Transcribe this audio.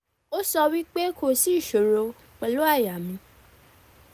o so wi pe ko si isoro pelu aya mi